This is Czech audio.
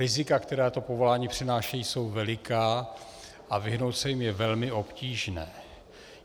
Rizika, která to povolání přináší, jsou veliká a vyhnout se jim je velmi obtížné.